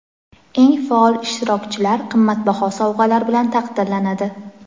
Eng faol ishtirokchilar qimmatbaho sovg‘alar bilan taqdirlanadi.